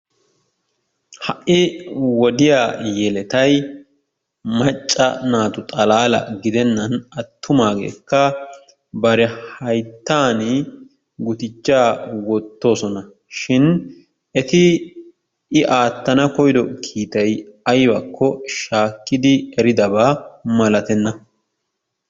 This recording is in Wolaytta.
Ha'i wodiya yeletayi macca naatu xalaalaa gidennan attumaageetikka bari hayttan guduchchaa wottoosona shin eti i aattana koyyido kiitayi aybakko shaakkidi eridaba malatenna .